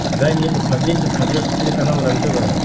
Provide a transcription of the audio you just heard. дай мне посмотреть на смотрешке телеканал рентв